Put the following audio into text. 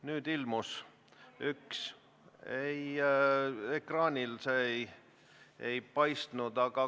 Nüüd ilmus küsimus, ekraanil see enne ei paistnud.